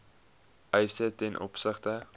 eise ten opsigte